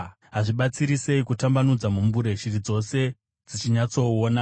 Hazvibatsiri sei kutambanudza mumbure shiri dzose dzichinyatsoona!